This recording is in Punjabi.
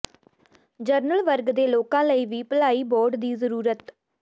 ਜਨਰਲ ਵਰਗ ਦੇ ਲੋਕਾਂ ਲਈ ਵੀ ਭਲਾਈ ਬੋਰਡ ਦੀ ਜ਼ਰੂਰਤ